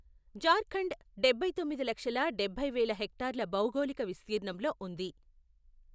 జార్ఖండ్ డబ్బై తొమ్మిది లక్షల డబ్బై వేల హెక్టార్ల భౌగోళిక విస్తీర్ణంలో ఉంది.